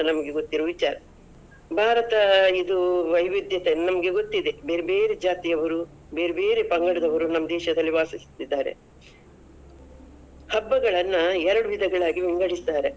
ನಮಗೆ ಗೊತ್ತಿರುವ ವಿಚಾರ. ಭಾರತ ಇದು ವೈವಿದ್ಯತೆ ನಮ್ಗೆ ಗೊತ್ತಿದೆ, ಬೆರ್ಬೇರೆ ಜಾತಿಯವರು, ಬೆರ್ಬೇರೆ ಪಂಗಡದವರು ನಮ್ ದೇಶದಲ್ಲಿ ವಾಸಿಸುತಿದ್ದಾರೆ. ಹಬ್ಬಗಳನ್ನ ಎರಡ್ ವಿಧಗಳಾಗಿ ವಿಂಗಡಿಸಿದ್ದಾರೆ.